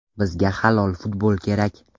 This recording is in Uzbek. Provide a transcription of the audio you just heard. Bizga halol futbol kerak.